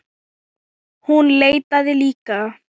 Hún leitaði líka.